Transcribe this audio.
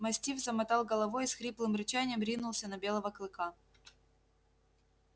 мастиф замотал головой и с хриплым рычанием ринулся на белого клыка